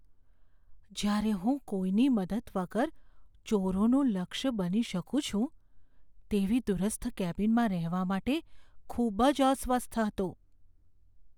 જ્યાં હું કોઈની મદદ વગર ચોરોનું લક્ષ્ય બની શકું છું તેવી દૂરસ્થ કેબિનમાં રહેવા માટે ખૂબ જ અસ્વસ્થ હતો.